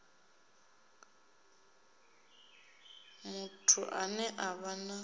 muthu ane a vha na